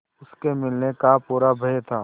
उसके मिलने का पूरा भय था